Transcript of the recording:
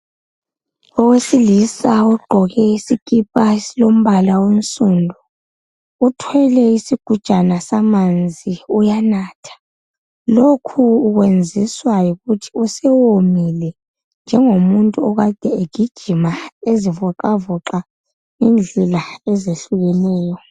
Owesilisa ogqoke isikipa esilombala onsundu, uthwele isigujana samanzi uyanatha lokhu ukwenziswa yikuthi usewomile, njengomuntu okade egijima ezivoxavoxa indlela ezehlukeneyo